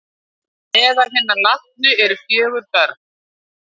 Meðal hinna látnu eru fjögur börn